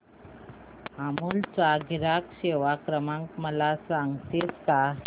अमूल चा ग्राहक सेवा क्रमांक मला सांगतेस का